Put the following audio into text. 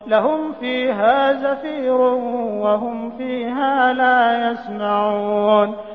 لَهُمْ فِيهَا زَفِيرٌ وَهُمْ فِيهَا لَا يَسْمَعُونَ